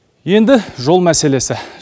енді жол мәселесі